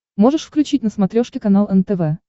можешь включить на смотрешке канал нтв